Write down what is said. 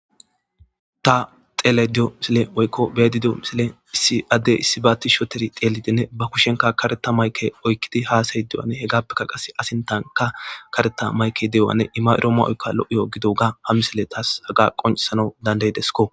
ta xelediyo misile woykko beedidio misile issi addey issi baa ttish oteri teelidinne ba kushenka kareta mayke oykkidi haasayy dewane he gaappekka qase asintanka kareta mayke de7owanne ima7irooma oykka lo7iyo gidoga hamisile taas haga qonsana dandaydesko